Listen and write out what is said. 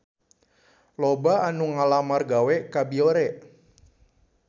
Loba anu ngalamar gawe ka Biore